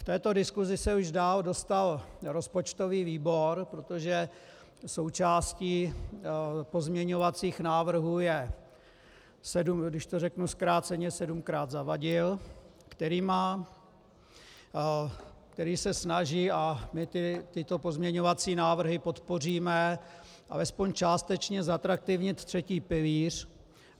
V této diskusi se už dál dostal rozpočtový výbor, protože součástí pozměňovacích návrhů, je, když to řeknu zkráceně, sedmkrát Zavadil, který se snaží - a my tyto pozměňovací návrhy podpoříme - alespoň částečně zatraktivnit třetí pilíř.